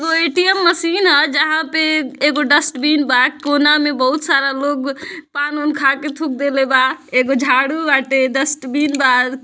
एगो ATM machine ह जहां पे एक डस्ट्बिन बा कोना मा बहुत सारा लोग पान वान खाके थूक देले बा एगो झाड़ू बाटे डस्ट्बिन बा।